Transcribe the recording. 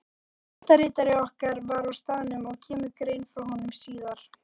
Fréttaritari okkar var á staðnum og kemur grein frá honum síðar.